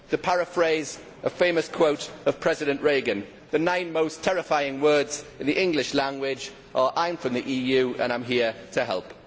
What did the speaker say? To paraphrase a famous quote of President Reagan, the nine most terrifying words in the English language are, I am from the EU and I am here to help'.